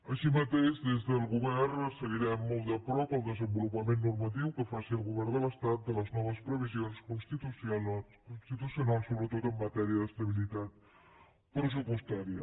així mateix des del govern seguirem molt de prop el desenvolupament normatiu que faci el govern de l’estat de les noves previsions constitucionals sobretot en matèria d’estabilitat pressupostària